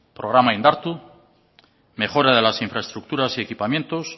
programa indartu mejoras de las infraestructuras y equipamientos